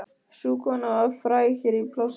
Sú kona var fræg hér í plássinu.